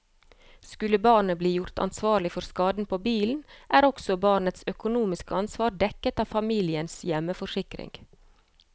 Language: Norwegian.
Skulle barnet bli gjort ansvarlig for skaden på bilen, er også barnets økonomiske ansvar dekket av familiens hjemforsikring.